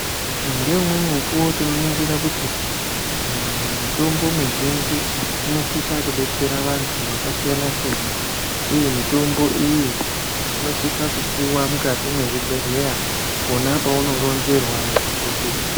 Ngeumweni mukuwo tinoningira kuti mitombo mizhinji inosisa kudetsera vantu vakasiya siyana ndokuti mitombo iyi inosisa kupiwa mukati mezvibhedhlera pona pauronzerwa na dhokodheya.